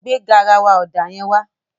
Gbé garawa ọ̀dà yẹn wá.